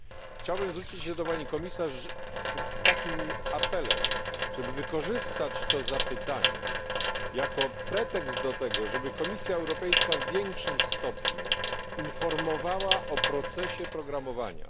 Chciałbym zwrócić się do Pani Komisarz z takim apelem, żeby wykorzystać to zapytanie, jako pretekst do tego, żeby Komisja Europejska w większym stopniu informowała o procesie programowania.